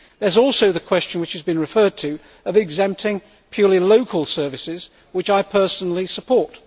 There is also the question, which has been referred to, of exempting purely local services, which I personally support.